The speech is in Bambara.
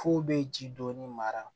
F'u bɛ ji dɔɔni mara